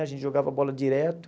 A gente jogava bola direto.